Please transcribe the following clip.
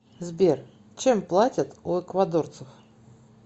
сбер чем платят у эквадорцев